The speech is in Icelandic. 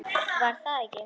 GRÍMUR: Var það ekki!